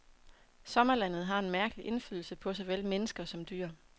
Sommerlandet har en mærkelig indflydelse på såvel mennesker som dyr.